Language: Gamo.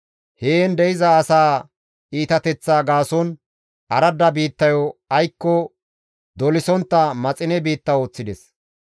Heen de7iza asaa iitateththaa gaason aradda biittayo aykko dolisontta maxine biitta ooththides.